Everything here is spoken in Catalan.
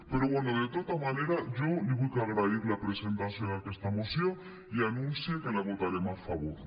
però bé de tota manera jo li vull agrair la presentació d’aquesta moció i anuncio que la votarem a favor